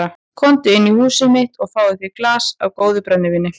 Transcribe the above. Komdu inn í húsið mitt og fáðu þér í glas af góðu brennivíni.